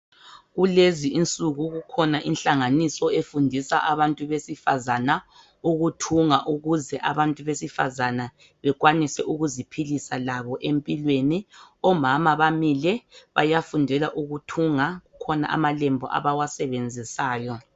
Kulezi insuku kukhona ihlanganiso efundisa abantu besifazana ukuthunga ukuze abantu besifazana bekwanise ukuziphilisa labo empilweni omama bamile bayafundela ukuthunga kukhona amalembu abawasebenzisayo.